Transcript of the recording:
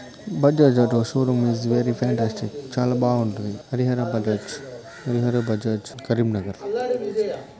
Bajaj auto showroom is fantastic చాలా బాగుంటుంది. హరిహర బజాజ హరిహర బజాజ్ కరీంనగర్.